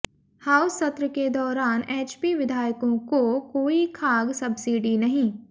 house सत्र के दौरान एचपी विधायकों को कोई खाद्य सब्सिडी नहीं